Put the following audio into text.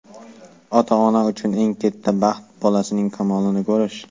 ota-ona uchun eng katta baxt – bolasining kamolini ko‘rish.